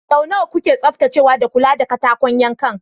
Sau nawa kuke tsaftacewa da kula da katakon yankan?